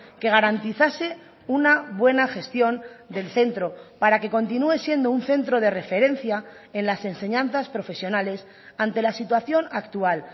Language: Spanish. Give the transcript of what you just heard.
que garantizase una buena gestión del centro para que continúe siendo un centro de referencia en las enseñanzas profesionales ante la situación actual